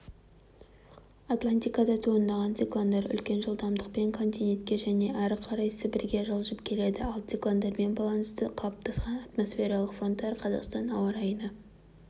атлантикада туындаған циклондар үлкен жылдамдықпен континентке және әрі қарай сібірге жылжып келеді ал циклондармен байланысты қалыптасқан атмосфералық фронттар қазақстан ауа райына